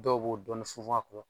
Dɔw b'o dɔɔni funfun a